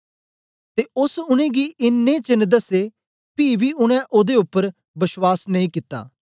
ते ओस उनेंगी इन्नें चेन्न दसे पी बी उनै ओदे उपर बश्वास नेई कित्ता